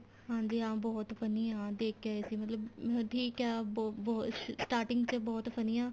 ਹਾਂਜੀ ਹਾਂ ਬਹੁਤ funny ਆ ਦੇਖ ਕੇ ਆਏ ਸੀ ਮਤਲਬ ਠੀਕ ਏ ਬਹੁਤ ਬਹੁਤ starting ਚ ਬਹੁਤ funny ਆ